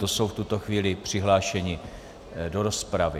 To jsou v tuto chvíli přihlášení do rozpravy.